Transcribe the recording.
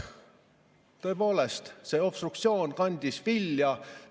Tõepoolest, see obstruktsioon kandis vilja.